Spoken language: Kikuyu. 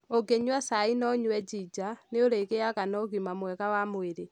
Ũngĩnyua cai na ũnyue njinja, nĩ ũrĩgĩaga na ũgima mwega wa mwĩrĩ.